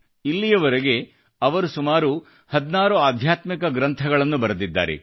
ಇಲ್ಲಿವರೆಗೆ ಅವರು ಸುಮಾರು 16 ಆಧ್ಯಾತ್ಮಿಕ ಗ್ರಂಥಗಳನ್ನು ಬರೆದಿದ್ದಾರೆ